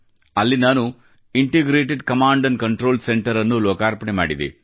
ಅಲ್ಲಿ ನಾನು integrated command and control centre ಅನ್ನು ಲೋಕಾರ್ಪಣೆ ಮಾಡಿದೆ